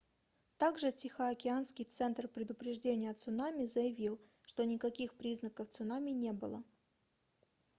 также тихоокеанский центр предупреждения цунами заявил что никаких признаков цунами не было